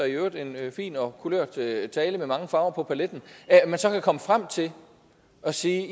i øvrigt fin og kulørt tale tale med mange farver på paletten kan komme frem til at sige